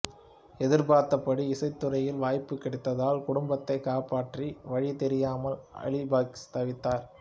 எதிர்பார்த்தபடி இசைத்துறையில் வாய்ப்பு கிடைக்காததால் குடும்பத்தை காப்பாற்ற வழி தெரியாமல் அலி பக்ஸ் தவித்தார்